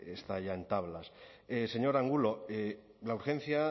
está ya en tablas señor angulo la urgencia